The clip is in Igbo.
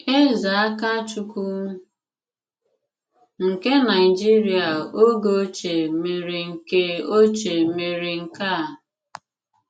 Èzè Àkàchùkwù nke Nàìjìrìà ògè òchìè mèré nke òchìè mèré nke à.